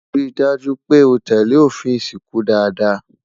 rí dájú pé o tẹlẹ òfin ìsìnkú dada